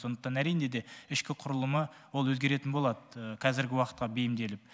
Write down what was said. сондықтан әрине де ішкі құрылымы ол өзгеретін болады қазіргі уақытқа бейімделіп